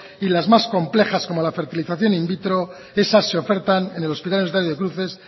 y las más complejas como la fertilización in vitro esas se ofertan en el hospital universitario de cruces